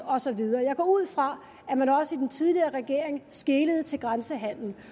og så videre jeg går ud fra at man også i den tidligere regering skelede til grænsehandelen